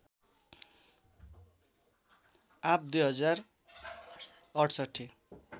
आव २०६८